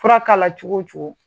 Fura k'a la cogo o cogo.